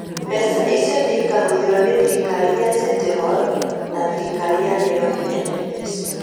Mbeca icio nĩ ikahũthĩrwo nĩ thirikari ya City Hall na thirikari ya Nairobi (NMS) .